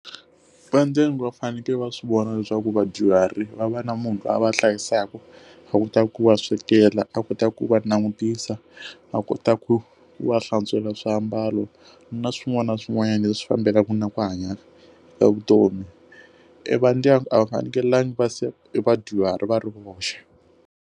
Va ndyangu va fanekele va swivona leswaku vadyuhari va va na munhu la va hlayisaka, a ku ta ku va swekela a kota ku va langutisa, va kota ku wa hlantswela swiambalo na swin'wana na swin'wana leswi fambelaka na ku hanya evutomi i va ndyangu a va fanekelanga va se vadyuhari va ri voxe.